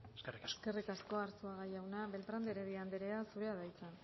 eskerrik asko eskerrik asko arzuaga jauna beltrán de heredia andrea zurea da hitza